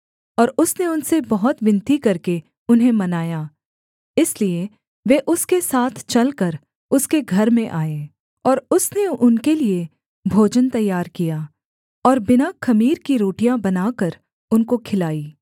और उसने उनसे बहुत विनती करके उन्हें मनाया इसलिए वे उसके साथ चलकर उसके घर में आए और उसने उनके लिये भोजन तैयार किया और बिना ख़मीर की रोटियाँ बनाकर उनको खिलाई